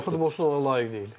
Və hər futbolçu ona layiq deyil.